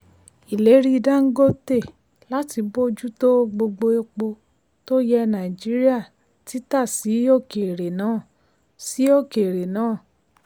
ìlérí dangote láti bójú tó gbogbo epo tó yẹ nàìjíríà títa sí òkèèrè náà. sí òkèèrè náà.